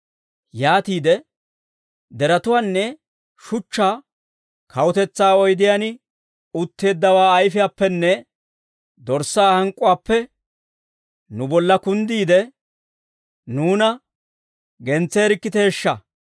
Yaatiide deretuwaanne shuchchaa, «Kawutetsaa oydiyaan utteeddawaa ayfiyaappenne Dorssaa hank'k'uwaappe nu bolla kunddiide, nuuna gentseerikkiteeshsha!